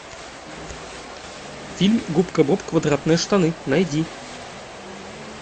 фильм губка боб квадратные штаны найди